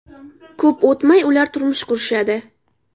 Ko‘p o‘tmay, ular turmush qurishadi.